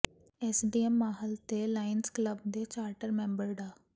SDM Mahal ਤੇ Lions Club ਦੇ charter member ਡਾ